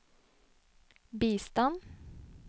bistand